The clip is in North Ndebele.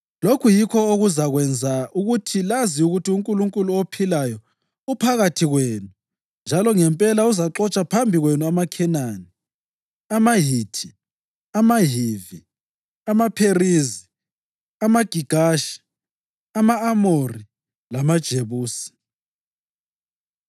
Lokhu yikho okuzakwenza ukuthi lazi ukuthi uNkulunkulu ophilayo uphakathi kwenu njalo ngempela uzaxotsha phambi kwenu amaKhenani, amaHithi, amaHivi, amaPherizi, amaGigashi, ama-Amori lamaJebusi.